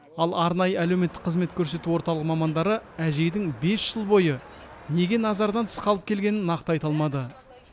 ал арнайы әлеуметтік қызмет көрсету орталығы мамандары әжейдің бес жыл бойы неге назардан тыс қалып келгенін нақты айта алмады